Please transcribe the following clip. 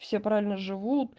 все правильно живут